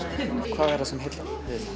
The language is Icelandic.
hvað er það sem heillar